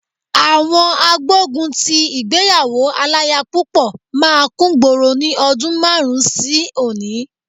Àwọn agbógun ti ìgbéyàwó aláya púpọ̀ máa kúngboro ní ọdún márùn-ún sí òní.